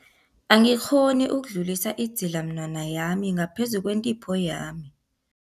Angikghoni ukudlulisa idzilamunwana yami ngaphezu kwentipho yami.